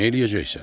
Neyləyəcəksən?